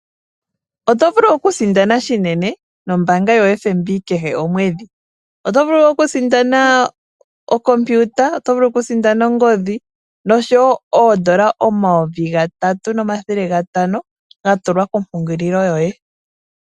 Oto vulu okusindana shinene nombaanga yoFNB kehe omwedhi, oto vulu okusindana okompiuta oto vulu okusindana ongodhi noshowo oondola omayovi gatatu nomathele gatano, ga tulwa kompungululo yoye.